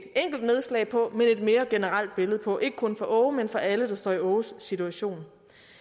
enkelt nedslag på men et mere generelt billede på ikke kun for aage men for alle der står i aages situation